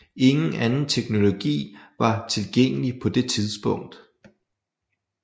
Ingen anden teknologi var tilgængelig på det tidspunkt